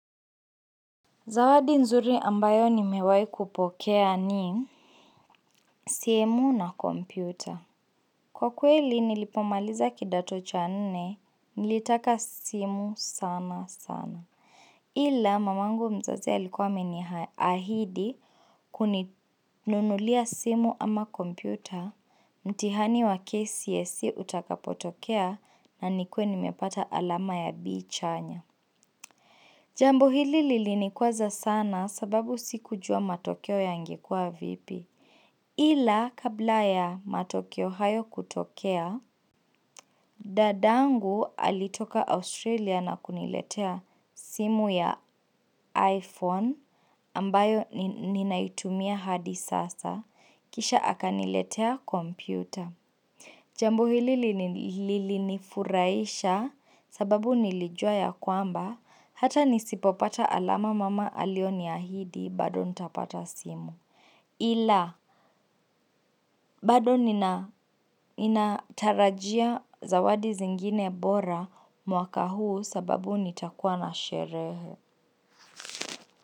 Zawadi nzuri ambayo nimewahi kupokea ni simu na kompyuta. Kwa kweli nilipomaliza kidato cha nne, nilitaka simu sana sana Ila mamangu mzazi alikuwa ameniahidi kuninunulia simu ama kompyuta mtihani wa KCSE utakapotokea na nikuwe nimepata alama ya B chanya Jambo hili lilinikwaza sana sababu sikujua matokeo yangekuwa vipi. Ila kabla ya matokeo hayo kutokea, dadangu alitoka Australia na kuniletea simu ya iPhone ambayo ninaitumia hadi sasa. Kisha akaniletea kompyuta. Jambo hili lilinifurahisha sababu nilijua ya kwamba hata nisipopata alama mama alioniahidi bado nitapata simu. Ila bado ninatarajia zawadi zingine bora mwaka huu sababu nitakuwa na sherehe.